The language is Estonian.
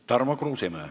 Tarmo Kruusimäe.